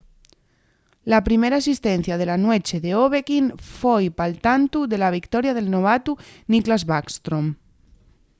la primera asistencia de la nueche d'ovechkin foi pal tantu de la victoria del novatu nicklas backstrom